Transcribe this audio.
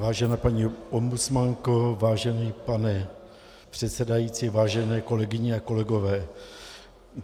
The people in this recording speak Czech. Vážená paní ombudsmanko, vážený pane předsedající, vážené kolegyně a kolegové.